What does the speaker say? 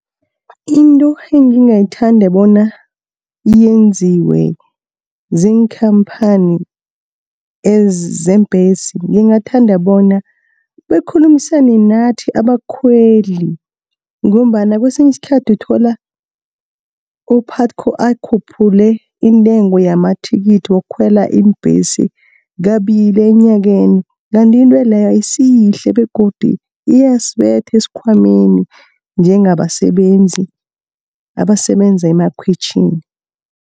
Into engingathanda bona yenziwe ziinkhamphani zeembhesi, ngingathanda bona bakhulumisane nathi abakhweli, ngombana kesinye iskhathi uthola u-P-U_T_C_O akhuphule intengo yamathikithi wokukhwela iimbhesi kabili enyakeni. Kanti into leyo ayisiyihle, begodu iyasibetha esikhwameni njengabasebenzi abasebenza emakhwitjhini.